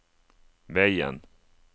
veien